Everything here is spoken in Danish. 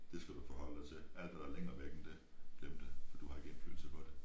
Det skal du forholde dig til alt hvad der er længere væk end det glem det du har ikke indflydelse på det